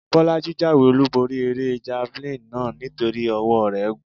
Bọ́lájí jáwé-olúborí eré javalínì náà nítorí ọwọ́ọ rẹ̀ gùn.